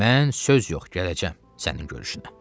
Mən söz yox, gələcəm sənin görüşünə.